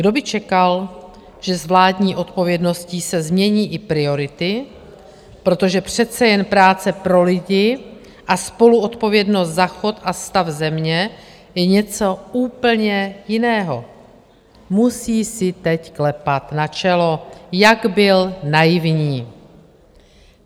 Kdo by čekal, že s vládní odpovědností se změní i priority, protože přece jen práce pro lidi a spoluodpovědnost za chod a stav země je něco úplně jiného, musí si teď klepat na čelo, jak byl naivní.